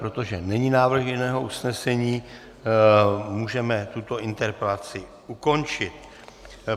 Protože není návrh jiného usnesení, můžeme tuto interpelaci ukončit.